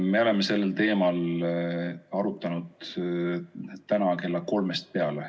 Me oleme sel teemal arutlenud täna kella kolmest peale.